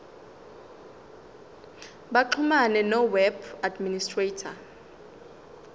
baxhumane noweb administrator